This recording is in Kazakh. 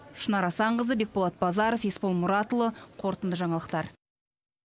шынар асанқызы бекболат базаров есбол мұратұлы қорытынды жаңалықтар